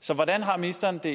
så hvordan har ministeren det